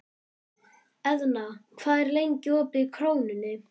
Eðna, hvað er lengi opið í Krónunni?